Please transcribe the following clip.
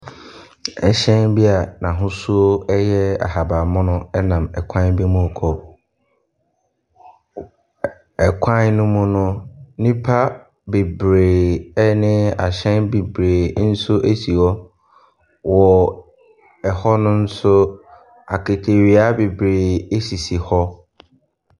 Ɛhyɛn bi a n'ahosuo ahabanmono nam kwan bi mu rekɔ. Ɛkwan no mu no, nnipa bebree ne ahyɛn bebree nso si hɔ. Wɔ ɛhɔ no nso, aketewia bebree sisi hɔ.